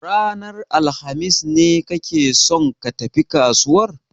Ranar alhamis ne kake son ka tafi kasuwar?